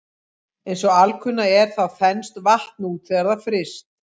Eins og alkunna er þá þenst vatn út þegar það er fryst.